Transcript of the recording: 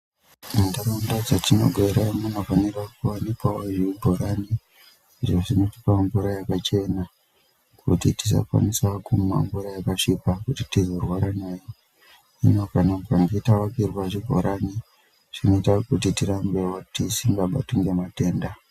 Munharaunda dzatinogara munofanirwa kuwanikwawo zvibhorani izvo zvinotipawo mvura yakachena kuti tisakwanisa kumwa mvura yakasvipa kuti tizorwara nayo hino tikange tavakirwawo zvibhorani zvinoita kuti tisabatwe ngematenda.